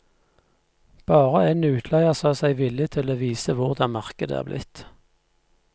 Bare en utleier sa seg villig til å vise hvordan markedet er blitt.